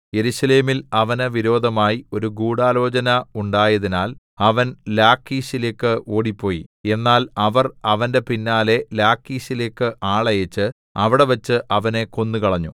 യെരൂശലേമിൽ അവന് വിരോധമായി ഒരു ഗൂഢാലോചന ഉണ്ടായതിനാൽ അവൻ ലാഖീശിലേക്ക് ഓടിപ്പോയി എന്നാൽ അവർ അവന്റെ പിന്നാലെ ലാഖീശിലേക്ക് ആളയച്ച് അവിടെവെച്ച് അവനെ കൊന്നുകളഞ്ഞു